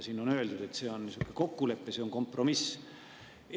Siin on öeldud, et on kokkulepe, kompromiss.